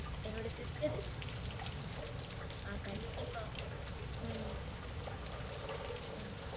என்னோட sisters ஆஹ் கண்டிப்பா ஹம் ஹம்